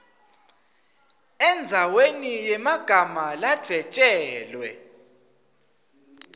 endzaweni yemagama ladvwetjelwe